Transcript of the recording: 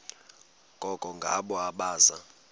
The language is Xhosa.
koko ngabo abaza